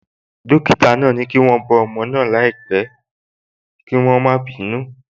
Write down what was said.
Dókítà náà sọ pé kí wọ́n bọ́ ọmọ náà dáadáa láìpẹ́ kí wọ́n má bàa bínú.